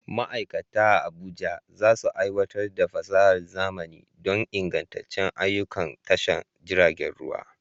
Ma'aikata a Abuja za su aiwatar da fasahar zamani don ingantattun ayyukan tashar jiragen ruwa.